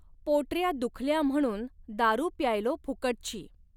पोटऱ्या दुखल्या म्हणून दारू प्यायलो फुकटची